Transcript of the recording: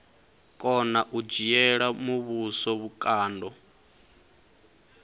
kona u dzhiela muvhuso vhukando